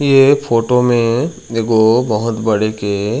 ये फोटो में एगो बहोत बड़े के--